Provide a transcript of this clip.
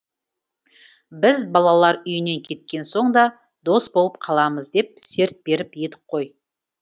біз балалар үйінен кеткен соң да дос болып қаламыз деп серт беріп едік қой